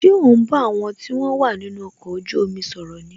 Ṣé o ń bá àwọn tí wọn wà nínú ọkọ̀ ojú omi sọ̀rọ̀ ni